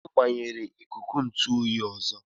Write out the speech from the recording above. Onye gbanyere ikuku ntụ oyi ọzọ?